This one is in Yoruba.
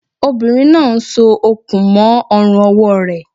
Obìnrin náà n so okùn mó ọrùn ọwọ́ rẹ̀